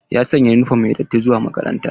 Ya sanya yunifom mai datti zuwa makaranta.